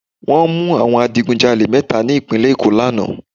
Wọ́n mú àwọn adigun jalè mẹ́ta ní ìpínlẹ̀ Èkó lánàá